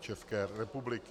České republiky.